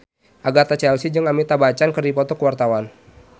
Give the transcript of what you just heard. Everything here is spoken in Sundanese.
Agatha Chelsea jeung Amitabh Bachchan keur dipoto ku wartawan